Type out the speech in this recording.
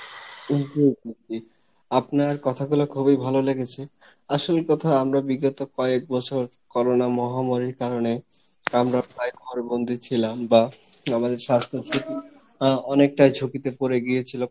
জি জি জি, আপনার কথা গোলা খুবই ভালো লেগেছে আসল কথা আমরা বিগত কয়েক বছর Corona মহামারীর কারনে আমরা প্রায় ঘর বন্ধি ছিলাম বা আমাদের স্বাস্থ্য আহ অনেক টা ঝুঁকিতে পরে গিয়েছিলো